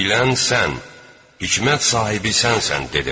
Bilən sən, hikmət sahibi sənsən, dedilər.